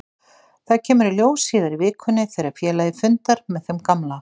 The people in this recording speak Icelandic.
Það kemur í ljós síðar í vikunni þegar félagið fundar með þeim gamla.